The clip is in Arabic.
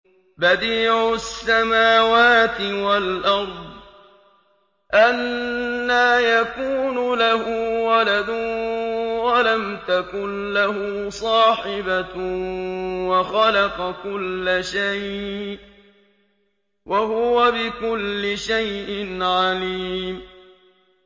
بَدِيعُ السَّمَاوَاتِ وَالْأَرْضِ ۖ أَنَّىٰ يَكُونُ لَهُ وَلَدٌ وَلَمْ تَكُن لَّهُ صَاحِبَةٌ ۖ وَخَلَقَ كُلَّ شَيْءٍ ۖ وَهُوَ بِكُلِّ شَيْءٍ عَلِيمٌ